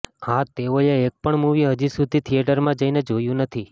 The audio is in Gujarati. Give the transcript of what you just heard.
હા તેઓએ એકપણ મુવી હજી સુધી થીએટરમાં જઈને જોયું નથી